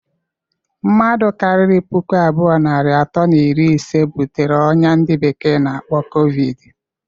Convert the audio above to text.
Mmadu kariri puku abụọ, narị atọ na iri ise butere oyia ndi bekee na-akpọ covid.